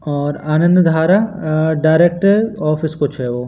और आनंद धारा अ director office कुछ है वो--